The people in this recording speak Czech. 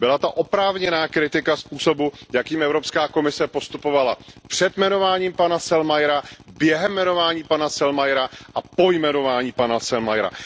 Byla to oprávněná kritika způsobu, jakým Evropská komise postupovala před jmenováním pana Selmayra, během jmenování pana Selmayra a po jmenování pana Selmayra.